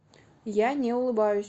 я не улыбаюсь